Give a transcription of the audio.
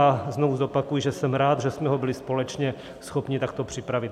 A znovu zopakuji, že jsem rád, že jsme ho byli společně schopni takto připravit.